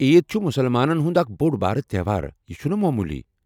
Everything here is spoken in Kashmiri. عیٖد چُھ مُسلمانن ہنٛد اکھ بوٚڑ بارٕ تہوار، یہِ چُھنہٕ موموٗلی۔